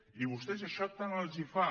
i a vostès això tant els fa